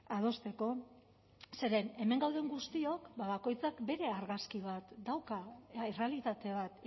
adosteko zeren hemen gauden guztiok bakoitzak bere argazki bat dauka errealitate bat